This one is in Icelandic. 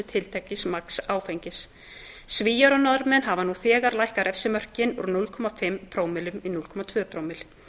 tiltekins magns áfengis svíar og norðmenn hafa nú þegar lækkað refsimörkin úr núll fimm prómillum í núll komma tvö prómill